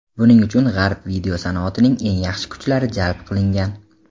Buning uchun G‘arb video sanoatining eng yaxshi kuchlari jalb qilingan.